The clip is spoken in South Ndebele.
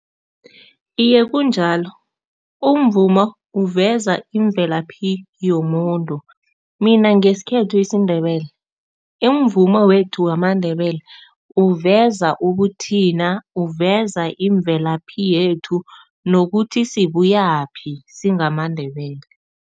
Iye, kunjalo, umvumo uveza imvelaphi yomuntu. Mina ngesikhethu isiNdebele, imvumo wethu wamaNdebele uveza ubuthina, uveza imvelaphi yethu nokuthi sibuyaphi singamaNdebele.